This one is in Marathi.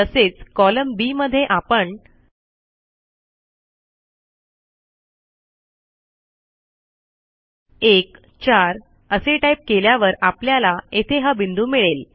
तसेच कॉलम बी मध्ये आपण 14 असे टाईप केल्यावर आपल्याला येथे हा बिंदू मिळेल